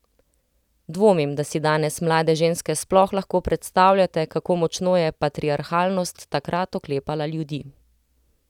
Dvomim, da si danes mlade ženske sploh lahko predstavljate, kako močno je patriarhalnost takrat oklepala ljudi.